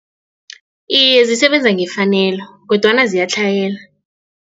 Iye, zisebenza ngefanelo kodwana ziyatlhayela.